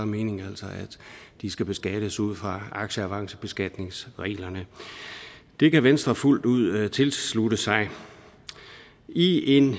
meningen altså at de skal beskattes ud fra aktieavancebeskatningsreglerne det kan venstre fuldt ud tilslutte sig i en